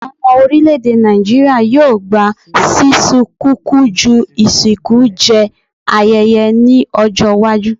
Awọn ọmọ orilẹ-ede Naijiria yoo gba sisun kuku ju isinku jẹ ayẹyẹ ni ọjọ iwaju